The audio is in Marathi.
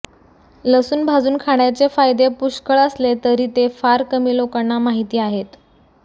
लसून भाजून खाण्याचे फायदे पुष्कळ असले तरी ते फार कमी लोकांना माहिती आहेत